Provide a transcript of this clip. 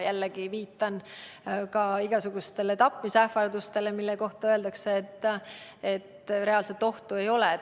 Jällegi viitan igasugustele tapmisähvardustele, mille kohta öeldakse, et reaalset ohtu ei ole.